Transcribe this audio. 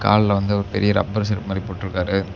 அதுல வந்து ஒரு பெரிய ரப்பர் செருப்பு மாரி போட்ருக்காரு.